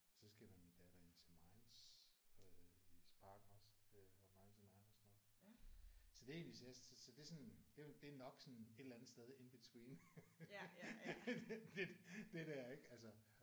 Og så skal jeg med min datter ind at se Minds øh i Parken også of 99 og sådan noget. Så det er egentlig så det er sådan det er nok sådan et eller andet sted in between det der ik altså